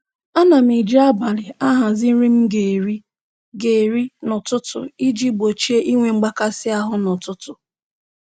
Ana m eji abalị ahazi nri m ga-eri ga-eri n'ụtụtụ iji gbochie inwe mgbakasị ahụ n'ụtụtụ